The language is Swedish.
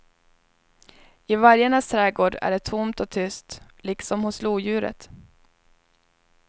I vargarnas trädgård är det tomt och tyst, liksom hos lodjuret.